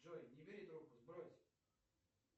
джой не бери трубку сбрось